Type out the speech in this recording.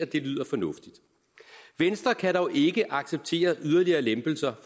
det lyder fornuftigt venstre kan dog ikke acceptere yderligere lempelser